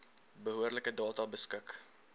behoorlike data beskik